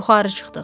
Yuxarı çıxdıq.